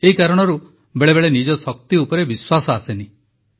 ଏହି କାରଣରୁ ବେଳେବେଳେ ନିଜ ଶକ୍ତି ଉପରେ ବିଶ୍ୱାସ ଆସେନାହିଁ